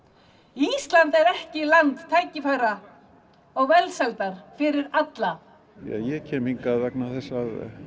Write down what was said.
ísland er ekki land tækifæra og velsældar fyrir alla ég kem hingað vegna þess að